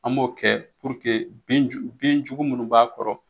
An b'o kɛ bin jugu munnu b'a kɔrɔ.